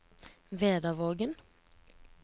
Vedavågen